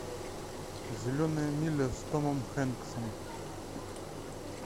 зеленая миля с томом хэнксом